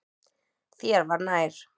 Þér var nær.